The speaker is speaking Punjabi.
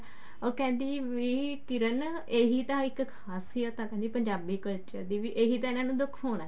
ਉਹ ਕਹਿੰਦੀ ਵੀ ਕਿਰਨ ਇਹੀ ਤਾਂ ਇੱਕ ਖਾਸੀਅਤ ਆ ਪੰਜਾਬੀ culture ਦੀ ਵੀ ਇਹੀ ਤਾਂ ਇਹਨਾ ਨੂੰ ਦਿਖਾਉਣਾ